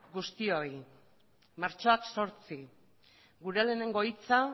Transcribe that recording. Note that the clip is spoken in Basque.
guztioi martxoak zortzi gure lehenengo hitza